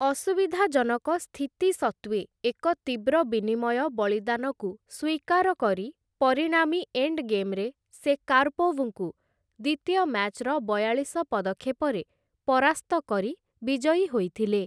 ଅସୁବିଧାଜନକ ସ୍ଥିତି ସତ୍ତ୍ୱେ ଏକ ତୀବ୍ର ବିନିମୟ ବଳିଦାନକୁ ସ୍ୱୀକାର କରି ପରିଣାମୀ ଏଣ୍ଡ ଗେମ୍‌ରେ ସେ, କାରପୋଭ୍‌ଙ୍କୁ ଦ୍ୱିତୀୟ ମ୍ୟାଚ୍‌ର ବୟାଳିଶ ପଦକ୍ଷେପରେ ପରାସ୍ତ କରି ବିଜୟୀ ହୋଇଥିଲେ ।